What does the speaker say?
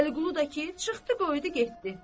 Vəliqulu da ki, çıxdı qoydu getdi.